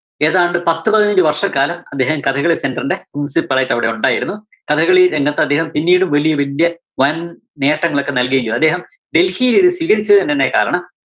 ഏതാണ്ട് പത്ത് പതിനഞ്ച് വര്‍ഷക്കാലം അദ്ദേഹം കഥകളി center ന്റെ principle ആയിട്ട് അവിടെ ഒണ്ടായിരുന്നു. കഥകളി രംഗത്ത് അദ്ദേഹം പിന്നീടും വലിയ വല്യേ വന്‍ നേട്ടങ്ങളൊക്കെ നല്‍കുകയും ചെയ്തു. അദ്ദേഹം ഡല്‍ഹിലിത് സ്വീകരിച്ചതിനുതന്നെ കാരണം